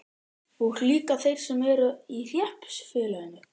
Og líka þeir sem ekki eru í hreppsfélaginu?